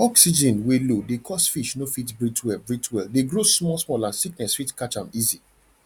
oxygen wey low dey cause fish no fit breathe well breathe well de grow small small and sickness fit catch am easy